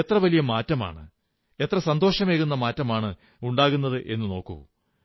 എത്ര വലിയ മാറ്റമാണ് എത്ര സന്തോഷമേകുന്ന മാറ്റമാണുണ്ടാകുന്നതെന്നു നോക്കൂ